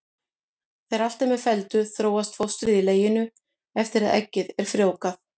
Þegar allt er með felldu þróast fóstrið í leginu eftir að eggið er frjóvgað.